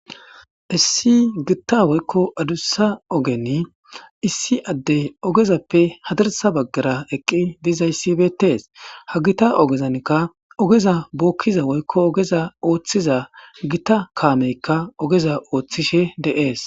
issi gitta woykko adussa ogeni issi addey ogezappe hadarsa baggara eqqi dizay sibetees ha gita ogezanka ogeza bookkiza woykko ogeza ooththiza gita kaameykka ogeza ooththishe de7ees